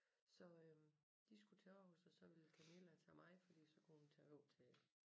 Så øh de skulle til Aarhus og så ville Camilla tage mig fordi så kunne hun tage over til